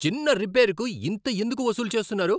చిన్న రిపేరుకు ఇంత ఎందుకు వసూలు చేస్తున్నారు?